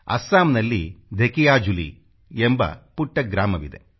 ಅಸ್ಸಾಂನಲ್ಲಿ ಧೆಕಿಯಾಜುಲಿ ಎಂಬ ಪುಟ್ಟ ಗ್ರಾಮವಿದೆ